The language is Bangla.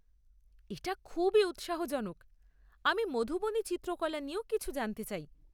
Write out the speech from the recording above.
এটা খুবই উৎসাহজনক। আমি মধুবনী চিত্রকলা নিয়েও কিছু জানতে চাই।